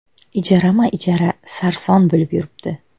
Ijarama-ijara sarson bo‘lib yuribdi.